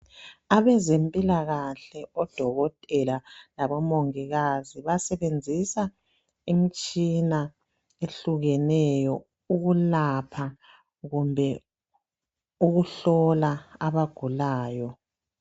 Abezempilakahle, odokotela labomongikazi basebenzisa imitshina ehlukeneyo ukwelapha kumbe ukuhlola abagulayo.